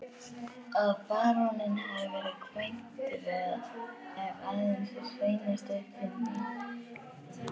Að baróninn hafi verið kvæntur er aðeins hreinasta uppfinding.